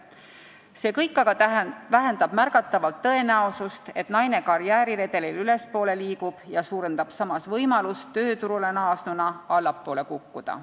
See kõik aga vähendab märgatavalt tõenäosust, et naine karjääriredelil ülespoole liigub, ja suurendab samas võimalust tööturule naasnuna allapoole kukkuda.